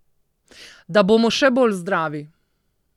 Da bomo še bolj zdravi.